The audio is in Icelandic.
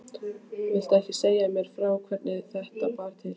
Viltu ekki segja mér frá hvernig þetta bar til?